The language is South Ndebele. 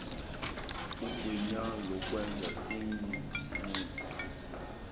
igunya lokwenza iinqunto